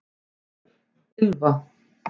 Ylfa